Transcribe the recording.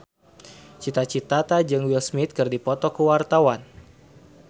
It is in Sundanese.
Cita Citata jeung Will Smith keur dipoto ku wartawan